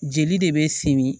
Jeli de bɛ simi